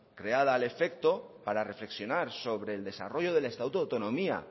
creada al afecto para reflexionar sobre el desarrollo del estatuto de autonomía